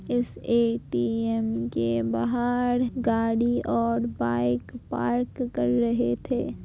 इस ए.टी.एम. के बाहर गाड़ी और बाइक पार्क कर रहे थे।